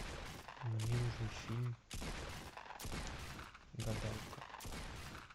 мне нужен фильм гадалка